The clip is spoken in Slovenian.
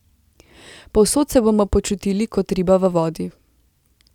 Povsod se bomo počutili kot riba v vodi.